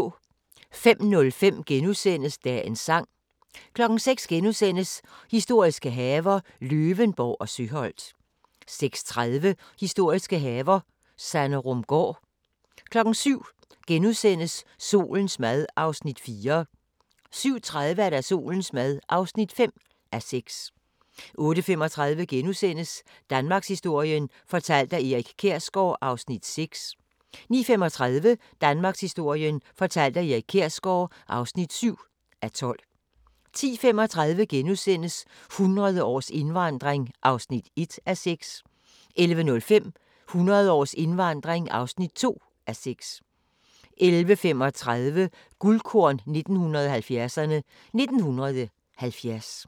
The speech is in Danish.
05:05: Dagens Sang * 06:00: Historiske haver – Løvenborg og Søholt * 06:30: Historiske haver - Sanderumgaard 07:00: Solens mad (4:6)* 07:30: Solens mad (5:6) 08:35: Danmarkshistorien fortalt af Erik Kjersgaard (6:12)* 09:35: Danmarkshistorien fortalt af Erik Kjersgaard (7:12) 10:35: 100 års indvandring (1:6)* 11:05: 100 års indvandring (2:6) 11:35: Guldkorn 1970'erne: 1970